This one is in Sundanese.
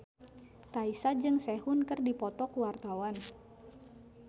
Raisa jeung Sehun keur dipoto ku wartawan